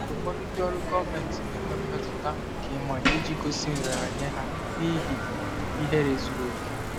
Ụfọdụ ndị ọrụ gọọmentị na-enwe mmetụta nke ịmanye iji gosi nraranye ha n'ihi ihere zuru oke.